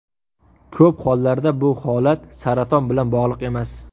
Ko‘p hollarda bu holat saraton bilan bog‘liq emas.